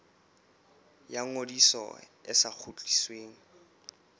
ya ngodiso e sa kgutlisweng